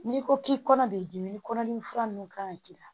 N'i ko k'i kɔnɔ de ɲini kɔnɔdimi fura ninnu ka kan ka k'i la